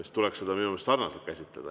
Siis tuleks seda minu meelest sarnaselt käsitleda.